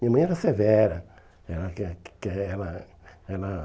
Minha mãe era severa. Ela quer que quer ela ela